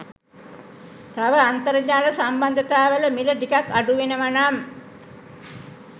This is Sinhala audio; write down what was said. තව අන්තර්ජාල සම්බන්ධතා වල මිල ටිකක් අඩුවෙනවනම්